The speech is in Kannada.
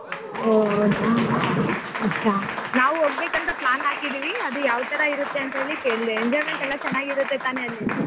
ಹೊ ಹೌದಾ अच्छा ನಾವ್ ಹೋಗ್ಬೇಕ್ ಅಂತ plan ಹಾಕಿದ್ದೀವಿ ಅದು ಯಾವ್ ತರ ಇರುತ್ತೆ ಅಂತೇಳಿ ಕೇಳ್ದೆ enjoyment ಎಲ್ಲಾ ಚೆನ್ನಾಗಿ ಇರುತ್ತೆ ತಾನೆ ಅಲ್ಲಿ?